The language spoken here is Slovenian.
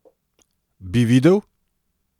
Bi videl?